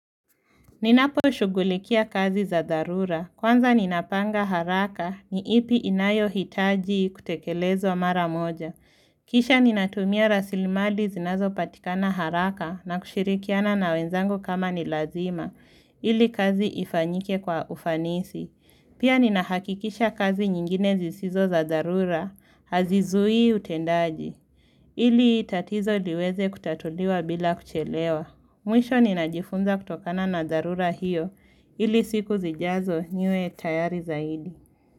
Ninaposhugulikia kazi za dharura. Kwanza ninapanga haraka ni ipi inayohitaji kutekelezwa mara moja. Kisha ninatumia rasilimali zinazopatikana haraka na kushirikiana na wenzangu kama ni lazima ili kazi ifanyike kwa ufanisi. Pia ninahakikisha kazi nyingine zisizo za dharura hazizui utendaji ili tatizo liweze kutatuliwa bila kuchelewa. Mwisho ninajifunza kutokana na dharura hiyo ili siku zijazo niwe tayari zaidi.